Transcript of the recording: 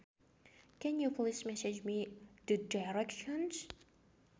Can you please message me the directions